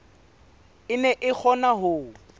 e ne e kgona ho